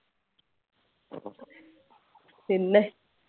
പിന്നെ